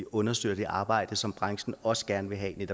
understøtte det arbejde som branchen også gerne vil have bliver